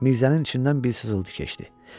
Mirzənin içindən bir sızıltı keçdi.